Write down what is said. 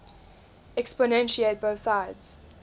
exponentiate both sides